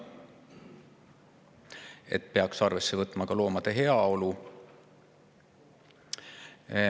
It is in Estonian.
Aga arvesse peaks võtma ka loomade heaolu.